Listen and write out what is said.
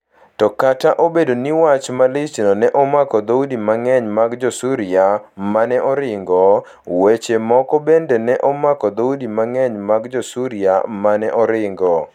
To kata obedo ni wach malichno ne omako dhoudi mang'eny mag Jo-Suria ma ne oringo, weche moko bende ne omako dhoudi mang'eny mag Jo-Suria ma ne oringo.